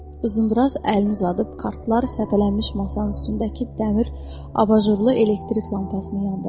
Uzundraz əlini uzadıb kartlar səpələnmiş masanın üstündəki dəmir abajurlu elektrik lampasını yandırdı.